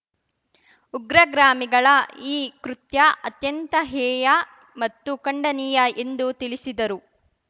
ಉಗ್ರಗ್ರಾಮಿಗಳ ಈ ಕೃತ್ಯ ಅತ್ಯಂತ ಹೇಯ ಮತ್ತು ಖಂಡನೀಯ ಎಂದು ತಿಳಿಸಿದರು